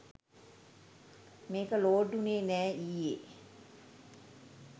මේක ලෝඩ් උනේ නෑ ඊයෙ